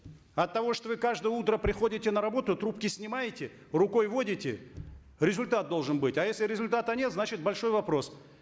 от того что вы каждое утро приходите на работу трубки снимаете рукой водите результат должен быть а если результата нет значит большой вопрос